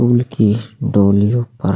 school की डोलियों पर --